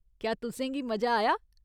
क्या तुसें गी मजा आया ?